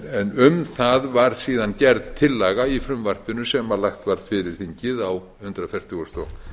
um það var síðan gerð tillaga í frumvarpinu sem lagt var fyrir þingið á hundrað fertugasta og